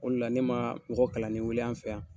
O de la ne ma mɔgɔ kalanlen wuli an fɛ yan